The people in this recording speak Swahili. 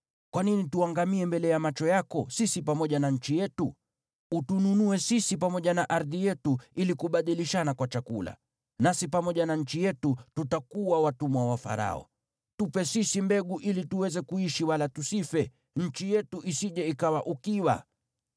Kwa nini tuangamie mbele ya macho yako, sisi pamoja na nchi yetu? Utununue sisi pamoja na ardhi yetu ili kubadilishana kwa chakula. Nasi pamoja na nchi yetu tutakuwa watumwa wa Farao. Tupe sisi mbegu ili tuweze kuishi wala tusife, nchi yetu isije ikawa ukiwa.”